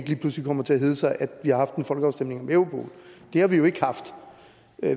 lige pludselig kommer til at hedde sig at vi har haft en folkeafstemning om europol det har vi jo ikke haft